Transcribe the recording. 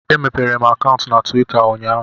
Emepere m akaụntụ na Tuwita ụnyaahụ